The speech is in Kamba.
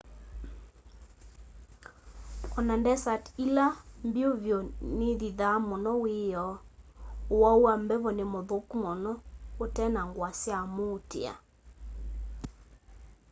ona ndesati ila mbyu vyu nithithaa muno wiyoo uwau wa mbevo ni muthuku muno utena ngua sya muutia